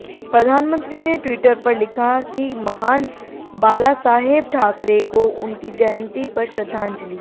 प्रधानमंत्री ने टि्वटर पर लिखा कि महान बालासाहेब ठाकरे को उनकी जयंती पर श्रद्धांजलि